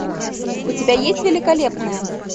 у тебя есть великолепная